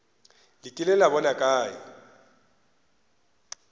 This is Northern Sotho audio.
le kile la bona kae